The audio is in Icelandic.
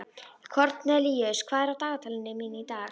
Kornelíus, hvað er á dagatalinu mínu í dag?